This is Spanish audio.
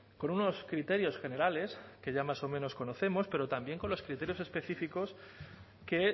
con unos criterios generales que ya más o menos conocemos pero también con los criterios específicos que